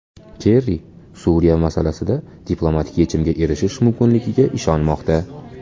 Kerri Suriya masalasida diplomatik yechimga erishish mumkinligiga ishonmoqda.